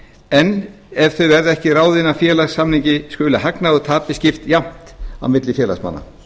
en ef þau verða ekki ráðin af félagssamningi skuli hagnaði og tapi skipt jafnt á milli félagsmanna